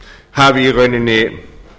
hafi í rauninni